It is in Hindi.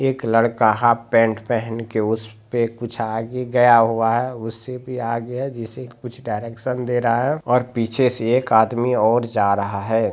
एक लड़का ह पैंट पहन के उस पे कुछ आगे गया हुआ है। उससे भी आगे है जिसे शायद कुछ डायरेक्शन दे रहा है और पीछे से एक आदमी और जा रहा है।